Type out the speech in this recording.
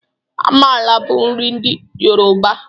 Amala bụ nri ndị yoroba.